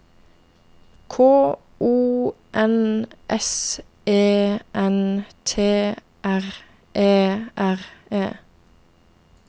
K O N S E N T R E R E